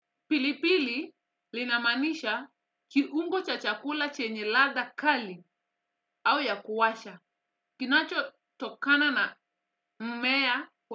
Pilipili linamaanisha kiungo cha chakula chenye ladha kali au ya kuwasha. Kinacho tokana na mmea kwa.